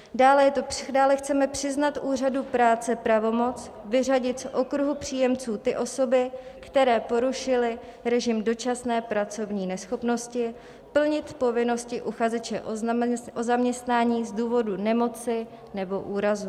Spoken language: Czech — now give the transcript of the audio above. Dále chceme přiznat úřadu práce pravomoc vyřadit z okruhu příjemců ty osoby, které porušily režim dočasné pracovní neschopnosti plnit povinnosti uchazeče o zaměstnání z důvodu nemoci nebo úrazu.